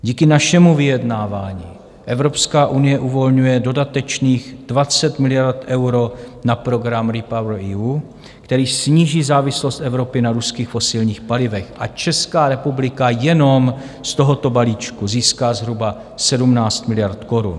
Díky našemu vyjednávání Evropská unie uvolňuje dodatečných 20 miliard eur na program REPowerEU, který sníží závislost Evropy na ruských fosilních palivech, a Česká republika jenom z tohoto balíčku získá zhruba 17 miliard korun.